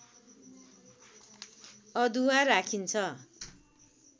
अदुवा राखिन्छ